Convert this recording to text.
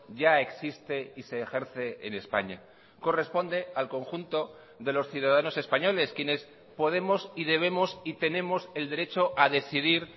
ya existe y se ejerce en españa corresponde al conjunto de los ciudadanos españoles quienes podemos y debemos y tenemos el derecho a decidir